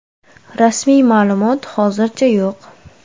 Rasmiy ma’lumot hozircha yo‘q.